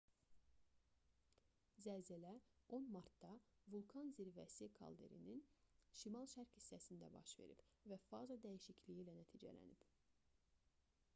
zəlzələ 10 martda vulkan zirvəsi kalderinin şimal-şərq hissəsində baş verib və faza dəyişikliyi ilə nəticələnib